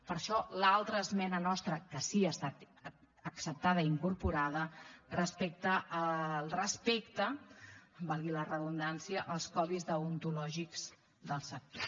per això l’altra esmena nostra que sí que ha estat acceptada i incorporada respecte al respecte valgui la redundància als codis deontològics del sector